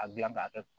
A gilan ka kɛ